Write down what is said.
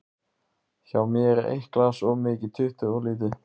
Hjá mér er eitt glas of mikið, tuttugu of lítið.